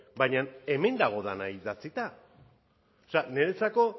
baina hemen dago dena idatzita niretzako